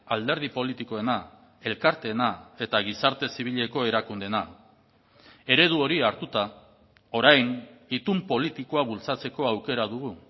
alderdi politikoena elkarteena eta gizarte zibileko erakundeena eredu hori hartuta orain itun politikoa bultzatzeko aukera dugu